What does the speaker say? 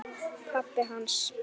Pabbi hans?